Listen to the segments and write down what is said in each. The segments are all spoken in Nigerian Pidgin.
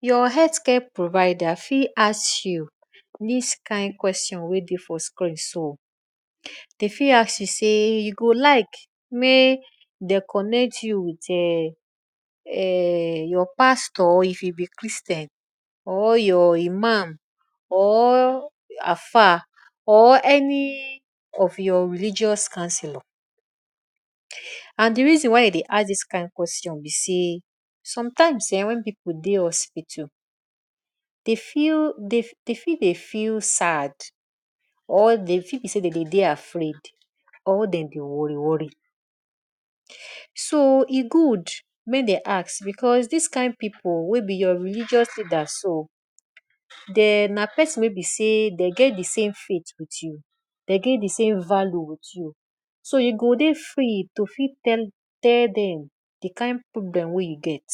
Your healthcare provider fit ask you this kind question wey de for screen so. Dey fit ask you sey you go like may dem connect you with your um um your pastor if you be Christian or your imam or alfa or any of your religious counselor and de reason why e dey ask this kind question be sey, sometimes um when people dey hospital dey feel dey fi dey feel sad or dey feel be sey dem dey dey afraid or dem dey worry worry so e good may dey ask because, this kind pipu wey be your religious leader so. Dem na person wey be sey dey get de same faith with u de get de same value with you so e go dey free to fit tell dem de kind problem wey you get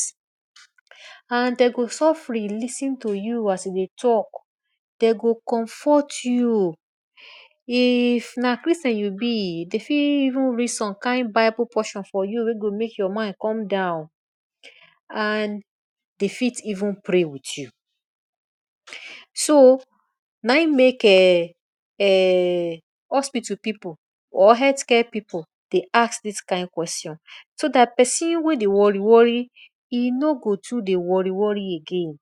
and dem go sofri lis ten to you as you dey talk. Dem go comfort you if na christian you be dey fit even read some kind bible portion for you wey go make your mind come down and dey fit even pray with you. So na im make um um hospital pipu or healthcare pipu dey ask this kind question so that person wey dey worry worry e no go too dey worry worry again.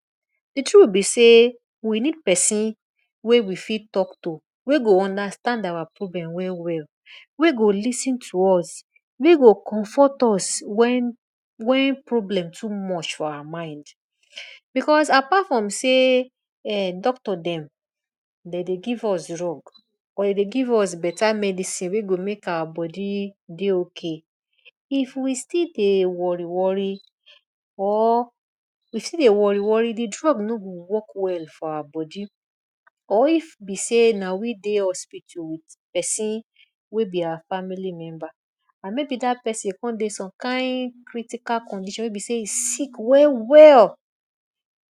de truth be sey we need persin wey we fit talk to wey go understand our problem well well wey go lis ten to us, wey go comfort us, when when problem too much for our mind because, apart from sey um doctor dem dem dey give us drug or dem dey give us beta medicine wey go make our body dey okay if we still dey worry worry or if we still dey worry worry de drug no go work well for our body or if be sey na we dey hospital with person wey be our family member and maybe dat person con dey some kind critical condition wey be sey e sick well well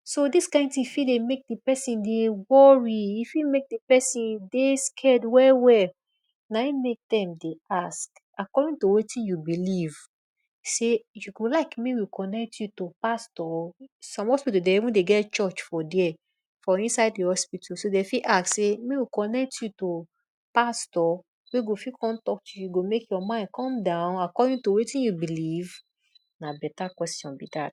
so this kind thing fit dey make de person dey worry e fit make de person dey scared well well na im make dem dey ask according to wetin you believe sey you go like make we connect you to pastor some hospital dey even dey get church for dere for inside de hospital so dey fit ask sey, may we connect you to pastor wey go fit come talk to you go make your mind come down according to wetin you believe na better question be that.